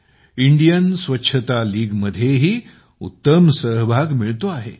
Indian Swachhata league मध्येही उत्तम सहभाग मिळतो आहे